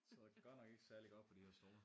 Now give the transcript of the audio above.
Sidder godt nok ikke særlig godt på de her stole